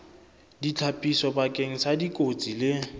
ditlhapiso bakeng sa dikotsi le